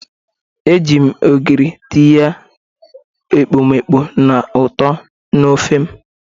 Eji m ogiri tinye ekpomeekpo na uto na ofe m.